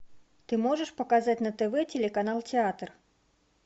ты можешь показать на тв телеканал театр